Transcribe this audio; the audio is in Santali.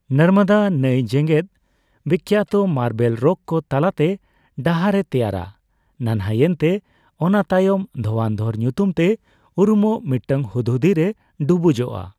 ᱱᱚᱨᱢᱚᱫᱟ ᱱᱟᱹᱭ, ᱡᱮᱜᱮᱫᱼᱵᱤᱠᱠᱷᱟᱛᱚ ᱢᱟᱨᱵᱮᱞ ᱨᱚᱠ ᱠᱚ ᱛᱟᱞᱟᱛᱮ ᱰᱟᱦᱟᱨᱮ ᱛᱮᱭᱟᱨᱟ, ᱱᱟᱱᱦᱟᱭᱮᱱᱛᱮ ᱚᱱᱟ ᱛᱟᱭᱚᱢ ᱫᱷᱳᱣᱟᱱ ᱫᱷᱚᱨ ᱧᱩᱛᱩᱢ ᱛᱮ ᱩᱨᱩᱢᱚᱜ ᱢᱤᱫᱴᱟᱝ ᱦᱩᱫᱦᱩᱫᱤᱨᱮ ᱰᱩᱵᱩᱡᱚᱜᱼᱟ ᱾